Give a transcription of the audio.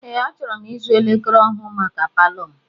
Ee, achọrọ m ịzụ elekere ọhụụ maka palọ m.